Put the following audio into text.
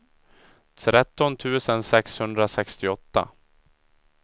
tretton tusen sexhundrasextioåtta